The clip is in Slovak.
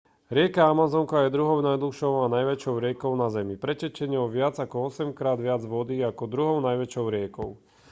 rieka amazonka je druhou najdlhšou a najväčšou riekou na zemi pretečie ňou viac ako 8-krát viac vody ako druhou najväčšou riekou